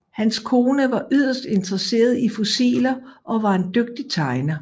Hans kone var yderst interesseret i fossiler og var en dygtig tegner